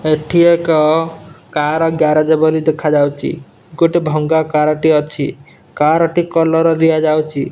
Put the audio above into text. ଏଠି ଏକ car garage ବୋଲି ଦେଖାଯାଉଚି। ଗୋଟେ ଭଙ୍ଗା କାର ଟିଏ ଅଛି। କାର ଟି କଲର ଦିଆଯାଉଚି।